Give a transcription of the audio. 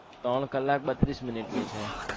ત્રણ કલાક બત્રીશ Minute ની છે